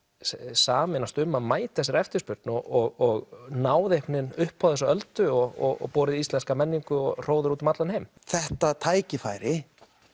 sameinast um að mæta þessari eftirspurn og ná einhvern veginn upp á þessa öldu og borið íslenska menningu og hróður út um allan heim þetta tækifæri